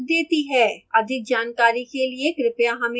अधिक जानकारी के लिए कृपया हमें लिखें